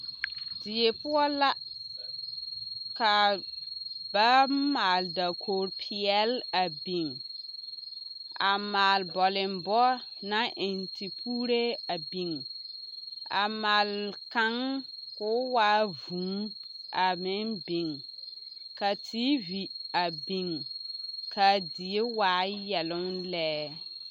Die poɔ la ka ba maale dakogiri peɛle a biŋ a maale bɔlembɔ naŋ eŋ tepuuree a biŋ a maale kaŋ k'o waa vūū a meŋ biŋ ka TV a biŋ k'a die waa yɛloŋ lɛ.